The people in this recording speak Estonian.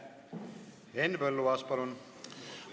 Henn Põlluaas, palun!